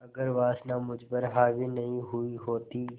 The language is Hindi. अगर वासना मुझ पर हावी नहीं हुई होती